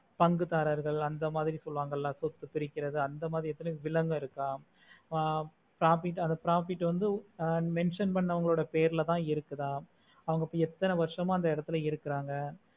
பங்கு தரர்கள் அந்த மாதிரி சொல்லுவாங்களா சொத்து பிரிகிறது அந்த மாதிரி வில்லங்கம் இருக்க ஆஹ் profit அத profit வந்து ஆஹ் mention பண்ணவங்களோட பெயர்ல தாம் இருக்குதா அவங்க எத்தனை வருஷமா அந்த எடத்துல இருக்குறாங்க